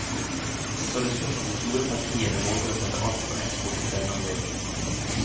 Så det spørs om de store partiene våger å sette alt på ett kort ved denne anledning.